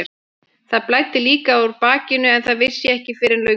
Það blæddi líka úr bakinu en það vissi ég ekki fyrr en löngu síðar.